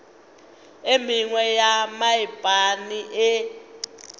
e mengwe ya mephaene e